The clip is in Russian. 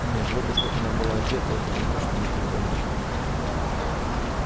нет вот уж как она была одета этого он что-то не припомнит